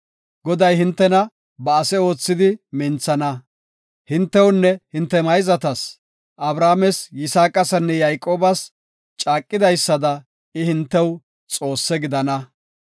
Goday hintena ba ase oothidi minthana; hintewunne hinte mayzatas, Abrahaames, Yisaaqasinne Yayqoobas caaqidaysada I hintew Xoosse gidana.